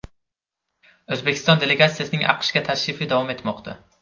O‘zbekiston delegatsiyasining AQShga tashrifi davom etmoqda.